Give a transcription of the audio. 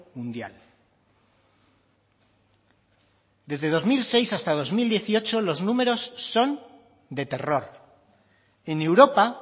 mundial desde dos mil seis hasta dos mil dieciocho los números son de terror en europa